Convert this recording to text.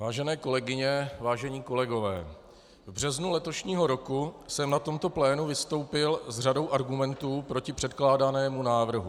Vážené kolegyně, vážení kolegové, v březnu letošního roku jsem na tomto plénu vystoupil s řadou argumentů proti předkládanému návrhu.